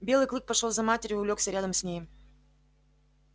белый клык пошёл за матерью и улёгся рядом с ней